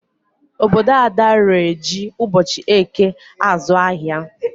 Obodo Ada ree ji ụbochị eke azụ ahịa.